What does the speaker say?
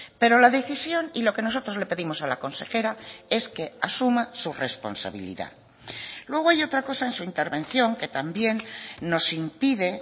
pero la decisión y lo que nosotros le pedimos a la consejera es que asuma su responsabilidad luego hay otra cosa en su intervención que también nos impide